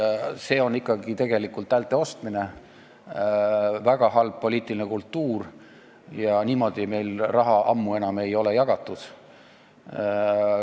See on tegelikult häälte ostmine, väga halb poliitiline kultuur – niimoodi ei ole meil enam ammu raha jagatud.